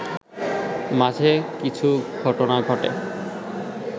মাঝে কিছু ঘটনা ঘটে